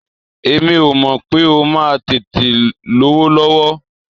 Èmi ò mọ̀ pé ó máa tètè lówó lọ́wọ́.